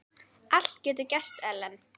Allt getur gerst, Ellen.